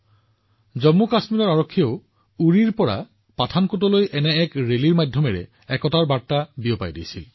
জম্মু আৰু কাশ্মীৰ আৰক্ষীৰ জোৱানসকলেও উৰিৰ পৰা পাঠানকোটলৈ একেধৰণৰ বাইক ৰেলী উলিয়াই দেশৰ ঐক্যৰ বাৰ্তা প্ৰচাৰ কৰি আছে